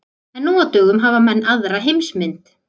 En nú á dögum hafa menn aðra heimsmynd.